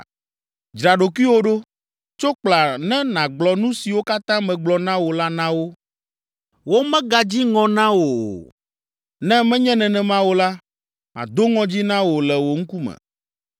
“Dzra ɖokuiwò ɖo! Tso kpla ne nàgblɔ nu siwo katã megblɔ na wò la na wo. Womegadzi ŋɔ na wò o, ne menye nenema o la, mado ŋɔdzi na wò le wo ŋkume.